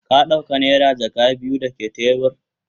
Ka dauka naira jaka biyu dake tebur?